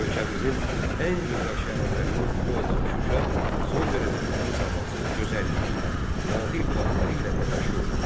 Ölkəmizin ən gözəl şəhərlərindən biri olan Şuşa son dərəcə təmiz havası, gözəlliyi, nadir bulaqları ilə də məşhurdur.